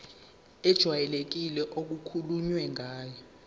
ejwayelekile okukhulunywe ngayo